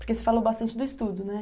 Porque você falou bastante do estudo, né?